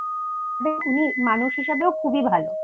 উনি মানুষ হিসেবেও খুবই ভালো